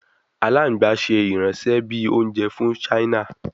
Alagban ṣe iranṣẹ bi ounjẹ fun china